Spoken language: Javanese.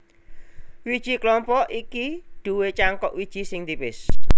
Wiji klompok iki duwé cangkok wiji sing tipis